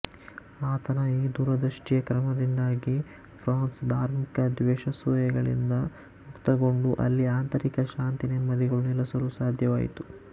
ಆತನ ಈ ದೂರದೃಷ್ಟಿಯ ಕ್ರಮದಿಂದಾಗಿ ಫ್ರಾನ್ಸ್ ಧಾರ್ಮಿಕ ದ್ವೇಷಾಸೂಯೆಗಳಿಂದ ಮುಕ್ತಗೊಂಡು ಅಲ್ಲಿ ಆಂತರಿಕ ಶಾಂತಿ ನೆಮ್ಮದಿಗಳು ನೆಲಸಲು ಸಾಧ್ಯವಾಯಿತು